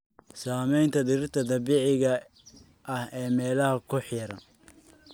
Saamaynta dhirta dabiiciga ah ee meelaha ku xeeran.